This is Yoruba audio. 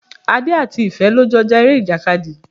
Adé àti Ìfẹ́ lọ jọ ja ere ìjàkadì.